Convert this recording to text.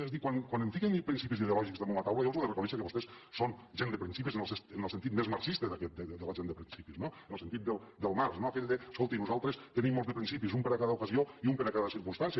és a dir quan em fiquen principis ideològics damunt la taula jo els ho he de reconèixer que vostès són gent de principis en el sentit més marxista de la gent de principis en el sentit del marx no aquell d’ escolti nosaltres tenim molts de principis un per a cada ocasió i un per a cada circumstància